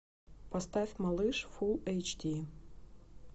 поставь малыш фулл эйч ди